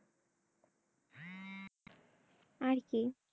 আর কি?